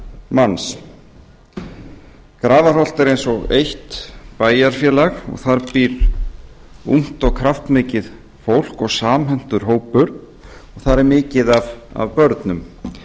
manns grafarholt er eins og eitt bæjarfélag og þar býr ungt og kraftmikið fólk og samhentur hópur og þar er mikið börnum